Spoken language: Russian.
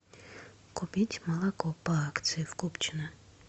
купить молоко по акции в купчино